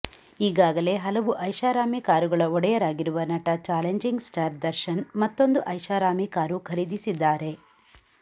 ಈಗಾಗಲೇ ಹಲವು ಐಷಾರಾಮಿ ಕಾರುಗಳ ಒಡೆಯರಾಗಿರುವ ನಟ ಚಾಲೆಂಜಿಂಗ್ ಸ್ಟಾರ್ ದರ್ಶನ್ ಮತ್ತೊಂದು ಐಷಾರಾಮಿ ಕಾರು ಖರೀದಿಸಿದ್ದಾರೆ